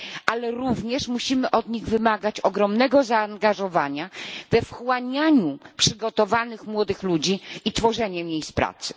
ale również wymagać od nich ogromnego zaangażowania we wchłanianie przygotowanych młodych ludzi i tworzenie miejsc pracy.